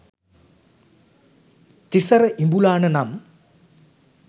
තිසර ඉඹුලාන නම්